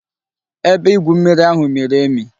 Ebe igwu mmiri ahu miri emi